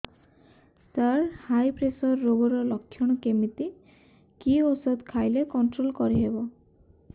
ସାର high pressure ରୋଗର ଲଖଣ କେମିତି କି ଓଷଧ ଖାଇଲେ କଂଟ୍ରୋଲ କରିହେବ